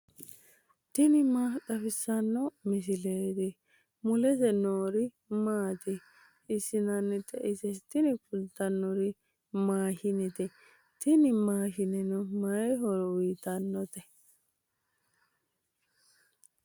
tini maa xawissanno misileeti ? mulese noori maati ? hiissinannite ise ? tini kultannori maashinete. tini maashineno may horo uyiitannote?